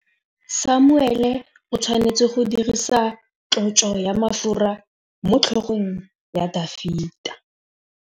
Samuele o tshwanetse go dirisa tlotsô ya mafura motlhôgong ya Dafita.